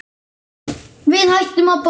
Við hættum að borða.